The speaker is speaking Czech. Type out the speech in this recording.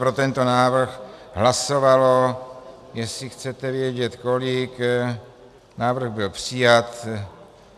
Pro tento návrh hlasovalo, jestli chcete vědět kolik... návrh byl přijat.